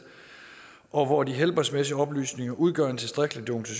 og hvor de helbredsmæssige oplysninger udgør en tilstrækkelig